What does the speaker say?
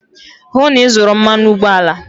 hụ na ị zụrụ mmanụ ụgbọala!